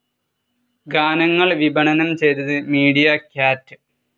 ഗാനങ്ങൾ വിപണനം ചെയ്തത് മീഡിയ ക്യാറ്റ്.